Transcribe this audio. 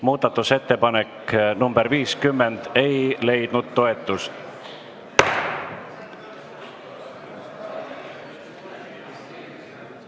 Muudatusettepanek nr 50 ei leidnud toetust.